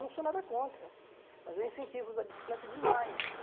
Eu não sou nada contra, mas eu incentivo a usar bicicleta demais.